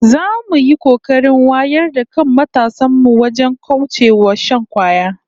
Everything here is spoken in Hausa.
Za mu yi kokarin wayar da kan matasan mu wajen kauce wa shan kwaya